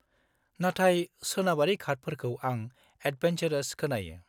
-नाथाय सोनाबारि घातफोरखौ आं एडभेनचरस खोनायो।